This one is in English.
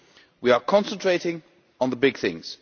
We are concentrating on the big things.